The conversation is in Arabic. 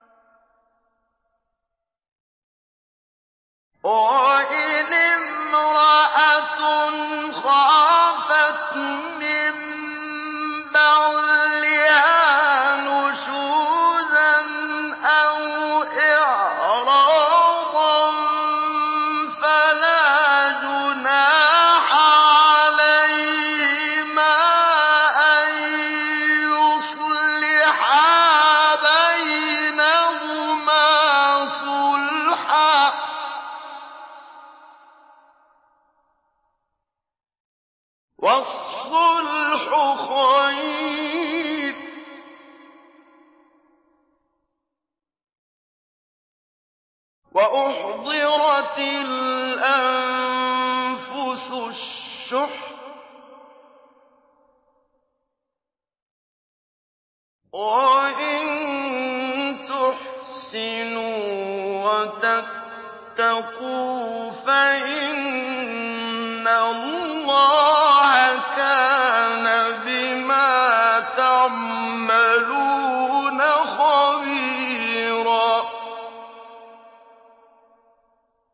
وَإِنِ امْرَأَةٌ خَافَتْ مِن بَعْلِهَا نُشُوزًا أَوْ إِعْرَاضًا فَلَا جُنَاحَ عَلَيْهِمَا أَن يُصْلِحَا بَيْنَهُمَا صُلْحًا ۚ وَالصُّلْحُ خَيْرٌ ۗ وَأُحْضِرَتِ الْأَنفُسُ الشُّحَّ ۚ وَإِن تُحْسِنُوا وَتَتَّقُوا فَإِنَّ اللَّهَ كَانَ بِمَا تَعْمَلُونَ خَبِيرًا